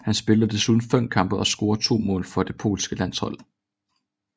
Han spillede desuden fem kampe og scorede to mål for det polske landshold